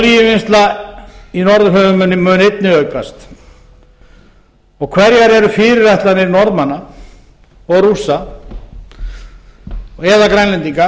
olíuvinnslan í norðurhöfum mun einnig aukast hverjar eru fyrirætlanir norðmanna og rússa eða grænlendinga